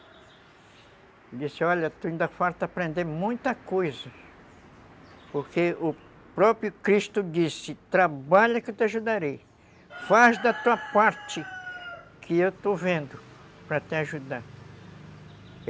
Ele disse, olha, tu ainda falta aprender muita coisa, porque o próprio Cristo disse, trabalha que eu te ajudarei, faz da tua parte, que eu estou vendo para te ajudar.